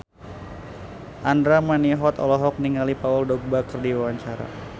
Andra Manihot olohok ningali Paul Dogba keur diwawancara